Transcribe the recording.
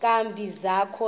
nkani zakho ezi